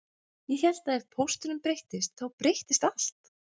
Ég hélt að ef pósturinn breyttist þá breyttist allt